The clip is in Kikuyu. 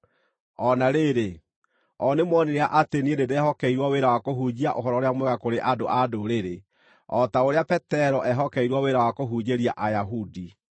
O na rĩrĩ, o nĩmoonire atĩ niĩ nĩndehokeirwo wĩra wa kũhunjia Ũhoro-ũrĩa-Mwega kũrĩ andũ-a-Ndũrĩrĩ, o ta ũrĩa Petero eehokeirwo wĩra wa kũhunjĩria Ayahudi.